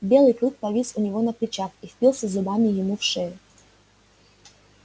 белый клык повис у него на плечах и впился зубами ему в шею